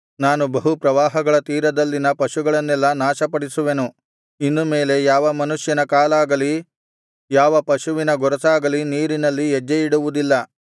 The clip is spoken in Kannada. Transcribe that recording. ನಾನು ಬಹು ಪ್ರವಾಹಗಳ ತೀರದಲ್ಲಿನ ಪಶುಗಳನ್ನೆಲ್ಲಾ ನಾಶಪಡಿಸುವೆನು ಇನ್ನು ಮೇಲೆ ಯಾವ ಮನುಷ್ಯನ ಕಾಲಾಗಲಿ ಯಾವ ಪಶುವಿನ ಗೊರಸಾಗಲಿ ನೀರಿನಲ್ಲಿ ಹೆಜ್ಜೆಯಿಡುವುದಿಲ್ಲ